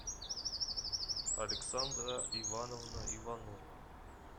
александра ивановна иванова